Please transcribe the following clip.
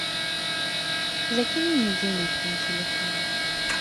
закинь мне денег на телефон